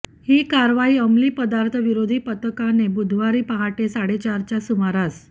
ही कारवाई अमली पदार्थ विरोधी पथकाने बुधवारी पहाटे साडेचारच्या सुमारास